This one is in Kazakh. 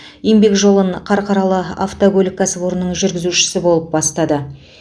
еңбек жолын қарқаралы автокөлік кәсіпорнының жүргізушісі болып бастады